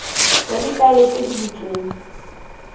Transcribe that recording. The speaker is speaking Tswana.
ya difaele tse di butsweng